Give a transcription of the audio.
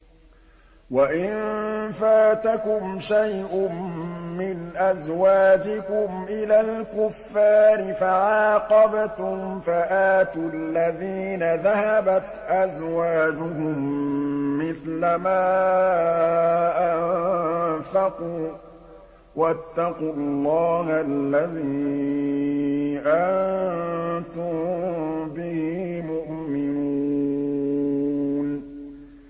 وَإِن فَاتَكُمْ شَيْءٌ مِّنْ أَزْوَاجِكُمْ إِلَى الْكُفَّارِ فَعَاقَبْتُمْ فَآتُوا الَّذِينَ ذَهَبَتْ أَزْوَاجُهُم مِّثْلَ مَا أَنفَقُوا ۚ وَاتَّقُوا اللَّهَ الَّذِي أَنتُم بِهِ مُؤْمِنُونَ